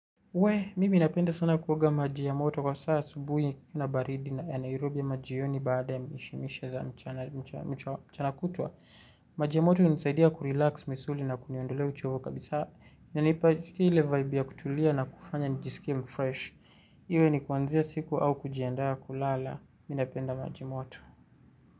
Wee, mimi ninapenda sana kuoga maji ya moto kwa saa asubuhi kuna baridi ya Nairobi ama jioni baada ya mishemishe za mchana kutwa. Maji ya moto hunisaidia kurilax misuli na kuniondolea uchovu kabisa. Inanipa tu ile vaibu ya kutulia na kufanya nijisikie mfresh. Iwe ni kuanzia siku au kujiandaa kulala. Mimi napenda maji moto.